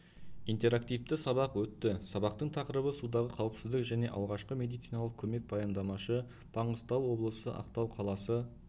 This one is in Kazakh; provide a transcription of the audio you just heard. интерактивті сабақ өтті сабақтың тақырыбы судағы қауіпсіздік және алғашқы медициналық көмек баяндамашы маңғыстау облысы ақтау қаласы